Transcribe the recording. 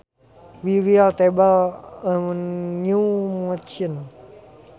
We will table a new motion